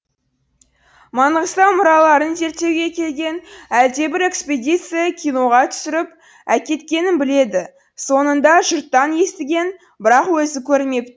маңғыстау мұраларын зерттеуге келген әлдебір экспедиция киноға түсіріп әкеткенін біледі соңында жұрттан естіген бірақ өзі көрмеп